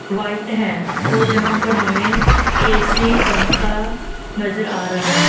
White है और जहां पर हमें ऐ_सी पंखा नजर आ रहा है।